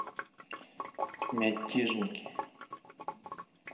мятежники